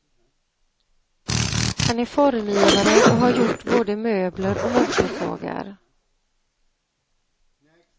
Han är formgivare och har gjort både möbler och motorsågar.